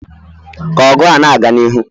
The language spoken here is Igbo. ka ọgụ na-aga n'ihu